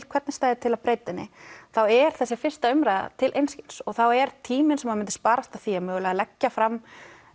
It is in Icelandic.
hvernig stæði til að breyta henni þá er þessi fyrsta umræða til einskis og þá er tíminn sem myndi sparast af því að mögulega leggja fram